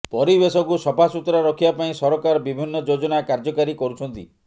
ପରିବେଶକୁ ସଫାସୁତୁରା ରଖିବା ପାଇଁ ସରକାର ବିଭିନ୍ନ ଯୋଜନା କାର୍ଯ୍ୟକାରୀ କରୁଛନ୍ତି